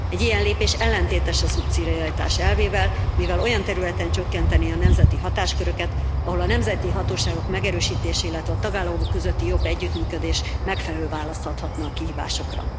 Egy ilyen lépés ellentétes a szubszidiaritás elvével, mivel olyan területen csökkenti a nemzeti hatásköröket, ahol a nemzeti hatóságok megerősítése, illetve a tagállamok közötti jobb együttműködés megfelelő választ adhatna a kihívásokra.